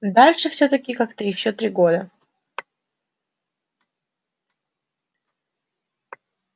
дальше всё-таки как-то ещё три года